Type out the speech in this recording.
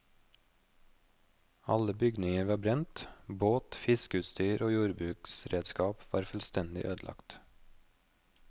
Alle bygninger var brent, båt, fiskeutstyr og jordbruksredskap var fullstendig ødelagt.